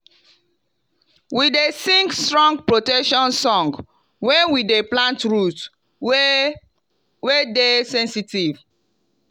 we dey sing strong protection song when we dey plant root wey wey dey sensitive.